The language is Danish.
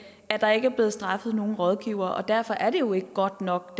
at der ikke er blevet straffet nogen rådgivere og derfor er det jo ikke godt nok